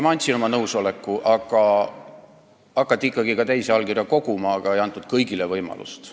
Ma andsin oma nõusoleku, aga hakati ikkagi koguma ka teisi allkirju, samas ei antud kõigile võimalust.